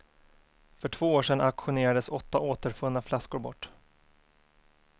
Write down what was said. För två år sedan auktionerades åtta återfunna flaskor bort.